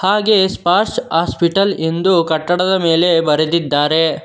ಹಾಗೆಯೇ ಸ್ಪಾಶ್ ಹಾಸ್ಪಿಟಲ್ ಎಂದು ಕಟ್ಟಡದ ಮೇಲೆ ಬರೆದಿದ್ದಾರೆ.